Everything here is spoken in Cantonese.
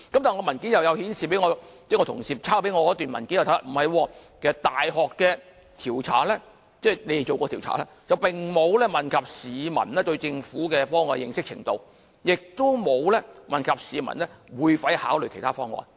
但是，我同事抄給我的文件顯示，大學的調查並沒有問及市民對政府的方案的認識程度，亦沒有問及市民會否考慮其他方案。